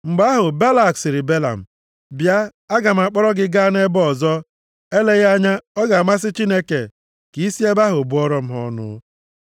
Mgbe ahụ, Balak sịrị Belam, “Bịa, aga m akpọrọ gị gaa nʼebe ọzọ. Eleghị anya ọ ga-amasị Chineke ka i si nʼebe ahụ bụọrọ m ha ọnụ.”